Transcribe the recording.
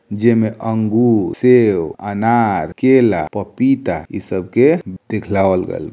जेमे अंगूर सेब अनार केला पपीता इ सबके दिखलावल गइल।